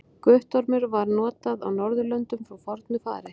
Guttormur var notað á Norðurlöndum frá fornu fari.